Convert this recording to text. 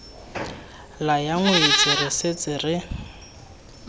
laya ngwetsi re setse re